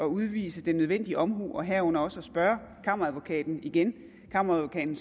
udvise den nødvendige omhu herunder også at spørge kammeradvokaten igen kammeradvokaten